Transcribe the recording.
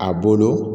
A bolo